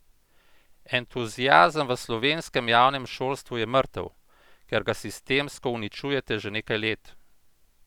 Entuziazem v slovenskem javnem šolstvu je mrtev, ker ga sistemsko uničujete že nekaj let!